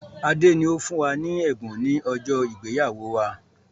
Adé ni ó fún wa ní ẹ̀bùn ni ọjọ́ ìgbéyàwó wá.